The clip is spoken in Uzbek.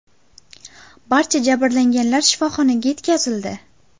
Barcha jabrlanganlar shifoxonaga yetkazildi.